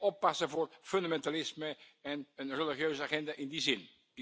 oppassen voor fundamentalisme en een religieuze agenda in die zin.